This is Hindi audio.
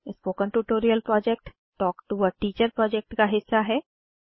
spoken tutorial project talk to a teacher project का हिस्सा है